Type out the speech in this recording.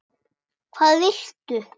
Hvað viltu?